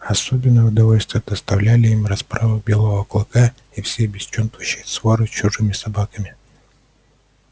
особенное удовольствие доставляли им расправы белого клыка и всей бесчинствующей своры с чужими собаками